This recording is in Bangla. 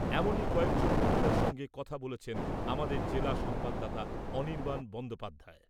এমনই কয়েকজন মহিলার সঙ্গে কথা বলেছেন আমাদের জেলা সংবাদদাতা অনির্বাণ বন্দ্যোপাধ্যায়।